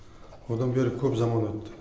одан бері көп заман өтті